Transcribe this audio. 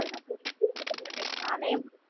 அதனால விட மாட்டேன் நானே.